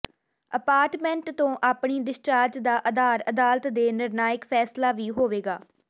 apartment ਤੋਂ ਆਪਣੀ discharge ਦਾ ਆਧਾਰ ਅਦਾਲਤ ਦੇ ਨਿਰਣਾਇਕ ਫੈਸਲਾ ਵੀ ਹੋਵੇਗਾ